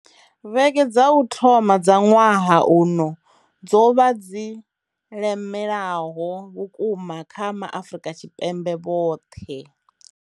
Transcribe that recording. Vhege dza u thoma dza ṅwaha uno dzo vha dzi lemelaho vhukuma kha Maafrika Tshipembe vhoṱhe.